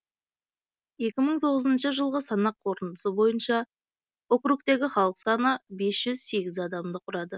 екі мың тоғызыншы жылғы санақ қорытындысы бойынша округтегі халық саны бес жүз сегіз адамды құрады